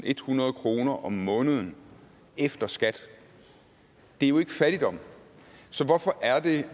ethundrede kroner om måneden efter skat det er jo ikke fattigdom så hvorfor er det